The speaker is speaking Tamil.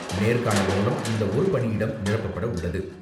நேர்காணல் மூலம் இந்த ஒரு பணியிடம் நிரப்பப்பட உள்ளது.